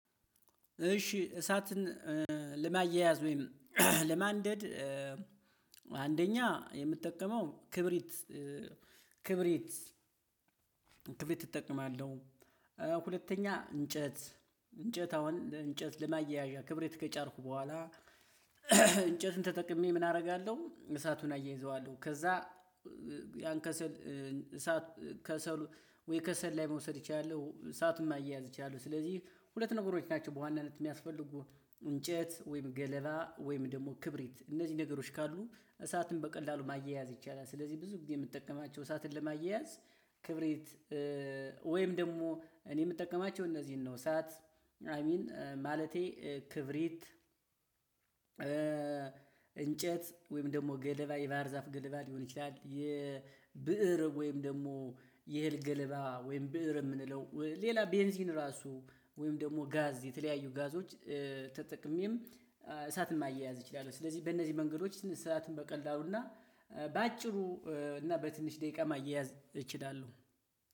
እሺ እሳትን ለማያያዝ ወይም ለማንደድ አንደኛ የምጠቀመው ክብሪት ክብሪት ክብሪት እጠቀማለሁ ሁለተኛ እንጨት እንጨት አሁን እንጨት ለማያያዣ ክብሪት ከጫርኩ በኋላ እንጨቱን ተጠቅሜ ምን አረጋለው እሳቱን አያይዘዋለው ከዛ ያን ከሰል እሳት ከሰሉ ወይ ከሰል ላይ መውሰድ እችላለው እሳቱም ማያያዝ እችላለው። ስለዚህ ሁለት ነገሮች ናቸው በዋናነት የሚያስፈልጉ እንጨት ወይም ገለባ ወይም ደግሞ ክብሪት እነዚህ ነገሮች ካሉ እሳትን በቀላሉ ማያያዝ ይቻላል። ስለዚህ ብዙ ጊዜ የምጠቀማቸው እሳትን ለማያያዝ ክብሪት ወይም ደግሞ እኔ የምጠቀማቸው እነዚህን ነው። እሳት አይ ሚን ማለቴ ክብሪት እንጨት ወይም ደግሞ ገለባ የባህር ዛፍ ገለባ ሊሆን ይችላል። የብእር ወይም ደግሞ የእህል ገለባ ወይም ብእር የምንለው ሌላ ቤንዚን ራሱ ወይም ደግሞ ጋዝ የተለያዩ ጋዞች ተጠቅሜም እሳትን ማያያዝ እችላለሁ። ስለዚህ በእነዚህ መንገዶች እሳትን በቀላሉና በአጭሩ እና በትንሽ ደቂቃ ማያያዝ እችላለሁ።